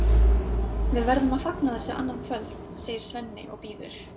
Við verðum að fagna þessu annað kvöld, segir Svenni og býður